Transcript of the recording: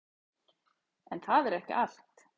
En það er ekki allt.